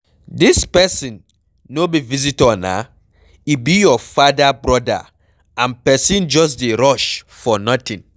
Dis person no be visitor naa, e be your father broda and person just dey rush for nothing.